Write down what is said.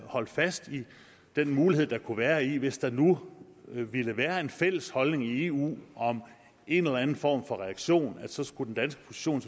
holdt fast i den mulighed der kunne være i hvis der nu ville være en fælles holdning i eu om en eller anden form for reaktion så skulle den danske position